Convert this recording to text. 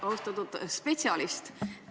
Austatud spetsialist!